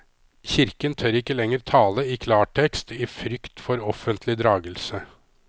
Kirken tør ikke lenger tale i klar tekst i frykt for offentlig dragelse.